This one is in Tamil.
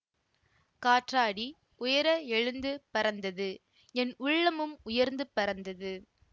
காற்றாடி உயர எழுந்து பறந்தது என் உள்ளமும் உயர்ந்து பறந்தது